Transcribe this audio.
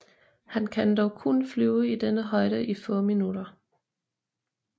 Han kan dog kun flyve i denne højde i få minutter